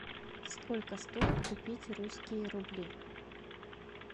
сколько стоит купить русские рубли